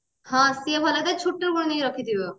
ହଁ ସିଏ ଭଲ ଯେ ଆଣିକି ରଖି ଥିବ